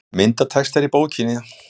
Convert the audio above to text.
Myndatextar í bókina